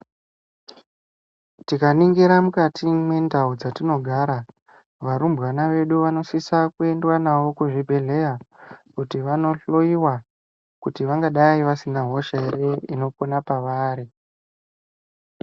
Tikaningira mukati mwendau dzatinogara varumbawana vedu vanosisa kuendwa navo kuzvibhehleya kuti vanohloyiwa kuti vangadai vasina hosha ere inopona pavari.